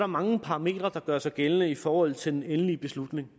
mange parametre der gør sig gældende i forhold til den endelige beslutning